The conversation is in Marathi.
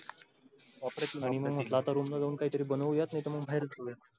आणि मग तळून वळून काय तरी बनवूया नाही तर मग बहिर खाऊया.